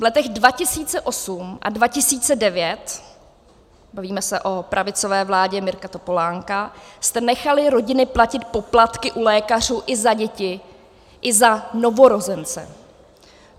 V letech 2008 a 2009, bavíme se o pravicové vládě Mirka Topolánka, jste nechali rodiny platit poplatky u lékařů i za děti, i za novorozence.